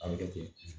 A bɛ kɛ ten